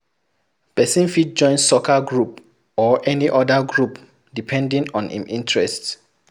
Person fit join soccer group or any oda group depending on im interest